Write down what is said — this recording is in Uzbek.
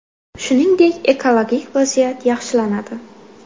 Shuningdek, ekologik vaziyat yaxshilanadi.